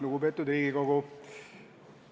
Lugupeetud Riigikogu!